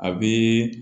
A bɛ